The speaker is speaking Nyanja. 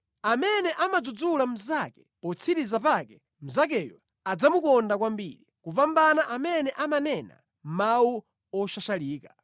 Amene amadzudzula mnzake potsiriza pake mnzakeyo adzamukonda kwambiri, kupambana amene amanena mawu oshashalika.